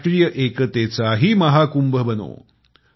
राष्ट्रीय एकतेचाही महाकुंभ बनो